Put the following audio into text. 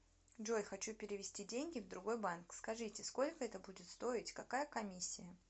джой хочу перевести деньги в другой банк скажите сколько это будет стоить какая комиссия